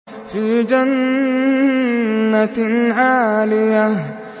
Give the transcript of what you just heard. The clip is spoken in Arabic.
فِي جَنَّةٍ عَالِيَةٍ